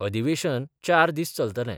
अधिवेशन चार दीस चलतलें.